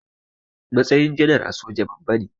Matsayin janar a soja babba ne.